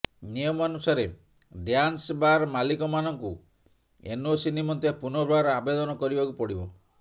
ନିୟମାନୁସାରେ dance bar ମାଲିକମାନଙ୍କୁ NOC ନିମନ୍ତେ ପୁନର୍ବାର ଆବେଦନ କରିବାକୁ ପଡ଼ିବ